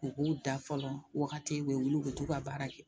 U k'u da fɔlɔ wagati u be wuli u b'u ka baara kɛ